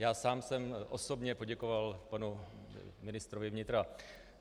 Já sám jsem osobně poděkoval panu ministrovi vnitra.